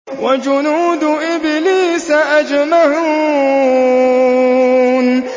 وَجُنُودُ إِبْلِيسَ أَجْمَعُونَ